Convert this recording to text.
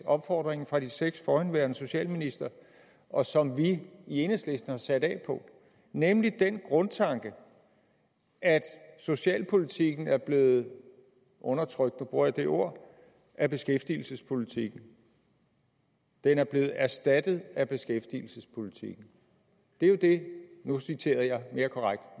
opfordringen fra de seks forhenværende socialministre og som vi i enhedslisten har sat af fra nemlig den grundtanke at socialpolitikken er blevet undertrykt nu bruger jeg det ord af beskæftigelsespolitikken den er blevet erstattet af beskæftigelsespolitikken det er jo det nu citerede jeg mere korrekt